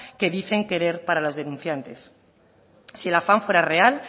que dicen querer para los denunciantes si el afán fuera real